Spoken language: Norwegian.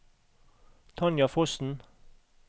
Tanja Fossen